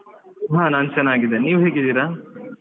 ಹಾ ನಾನ್ ಚೆನ್ನಾಗಿದ್ದೇನೆ ನೀವ್ ಹೇಗಿದ್ದೀರಾ?